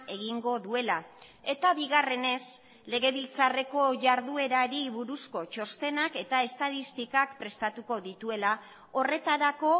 egingo duela eta bigarrenez legebiltzarreko jarduerari buruzko txostenak eta estatistikak prestatuko dituela horretarako